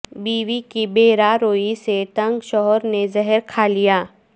بیوی کی بے راہ روی سے تنگ شوہرنے زہر کھالیا